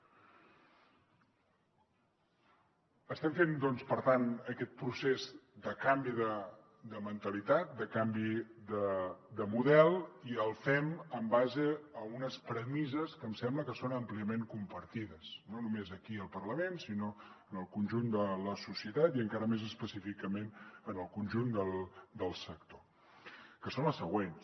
estem fent doncs per tant aquest procés de canvi de mentalitat de canvi de model i el fem en base a unes premisses que em sembla que són àmpliament compartides no només aquí al parlament sinó en el conjunt de la societat i encara més específicament en el conjunt del sector que són les següents